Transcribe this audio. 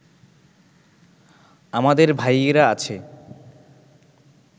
আমাদের ভাইয়েরা আছে